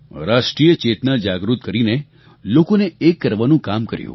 રાષ્ટ્રિય ચેતના જાગૃત કરીને લોકોને એક કરવાનું કામ કર્યું